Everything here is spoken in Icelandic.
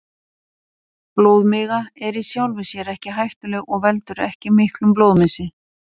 Blóðmiga er í sjálfu sér ekki hættuleg og veldur ekki miklum blóðmissi.